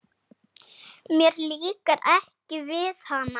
Mér líkar ekki við hana.